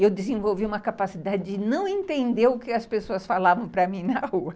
E eu desenvolvi uma capacidade de não entender o que as pessoas falavam para mim na rua.